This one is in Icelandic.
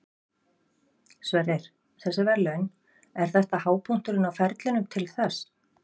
Sverrir, þessi verðlaun, er þetta hápunkturinn á ferlinum til þess?